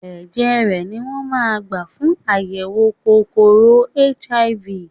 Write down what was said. Ẹ̀jẹ̀ rè ni wón gbà fún àyẹ̀wò kòkòrò HIV.